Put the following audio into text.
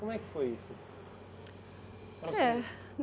Como é que foi isso? É